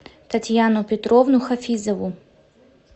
татьяну петровну хафизову